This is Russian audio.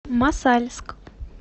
мосальск